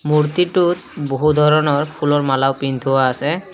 মূৰ্ত্তিটোত বহু ধৰণৰ ফুলৰ মালাও পিন্ধোৱা আছে।